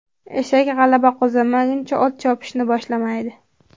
Eshak g‘alaba qozonmaguncha, ot chopishni boshlamaydi.